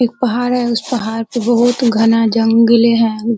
एक पहाड़ है। उस पहाड़ पे बहोत घना जंगल है।